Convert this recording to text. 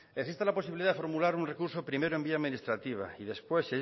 existe la posibilidad de formular un recurso primero en vía administrativa y después